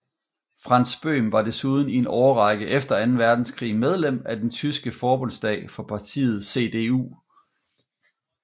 Franz Böhm var desuden i en årrække efter anden verdenskrig medlem af den tyske forbundsdag for partiet CDU